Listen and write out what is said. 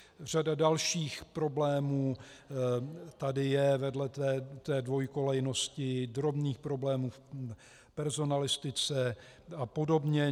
Řada dalších problémů tady je vedle té dvojkolejnosti, drobných problémů v personalistice a podobně.